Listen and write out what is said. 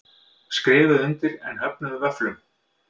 Skrifuðu undir en höfnuðu vöfflum